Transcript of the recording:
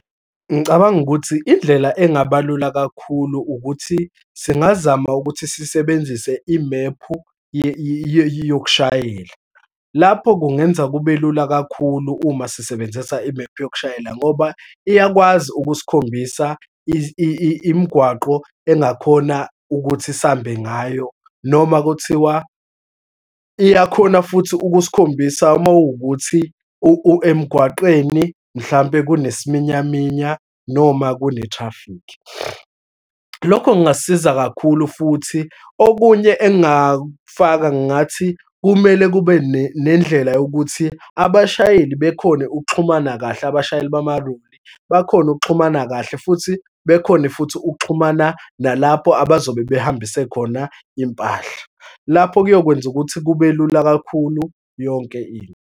Ngicabanga ukuthi indlela engaba lula kakhulu, ukuthi singazama ukuthi sisebenzise imephu yokushayela. Lapho kungenza kube lula kakhulu uma sisebenzisa imephu yokushayela ngoba iyakwazi ukusikhombisa imigwaqo engakhona ukuthi sihambe ngayo, noma kuthiwa iyakhona futhi ukusikhombisa uma kuwukuthi emgwaqeni mhlampe kunesiminyaminya noma kune-traffic. Lokho kungasiza kakhulu futhi. Okunye engingakufaka ngathi, kumele kube nendlela yokuthi abashayeli bekhone ukuxhumana kahle, abashayeli bamaloli bakhone ukuxhumana kahle, futhi bekhone futhi ukuxhumana nalapho abazobe behambise khona impahla. Lapho kuyokwenza ukuthi kube lula kakhulu yonke into.